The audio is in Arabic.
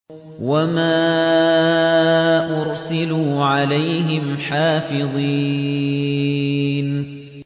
وَمَا أُرْسِلُوا عَلَيْهِمْ حَافِظِينَ